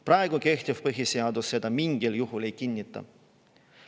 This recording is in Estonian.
Praegu kehtiv põhiseadus seda mingil juhul ei kinnita.